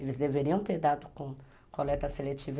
Eles deveriam ter dado com coleta seletiva.